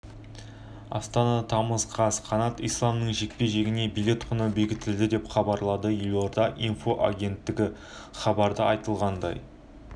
астана тамыз қаз қанат исламның жекпе-жегіне билет құны бекітілді деп хабарлады елорда инфо агенттігі хабарда айтылғандай